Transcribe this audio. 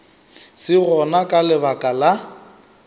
se gona ka lebaka la